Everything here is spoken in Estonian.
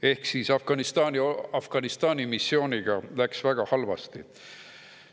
Ehk siis Afganistani missiooniga läks väga halvasti.